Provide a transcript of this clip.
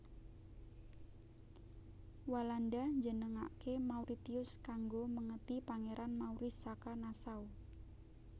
Walanda njenengaké Mauritius kanggo mèngeti Pangeran Maurice saka Nassau